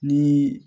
Ni